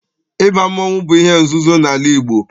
Ịba mmọnwụ bụ ihe nzuzo n'ala Igbo